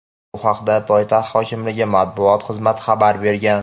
Bu haqda poytaxt hokimligi Matbuot xizmati xabar bergan.